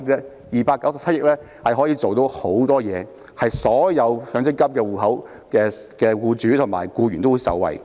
這297億元的效用很大，可以令所有擁有強積金戶口的僱主及僱員受惠。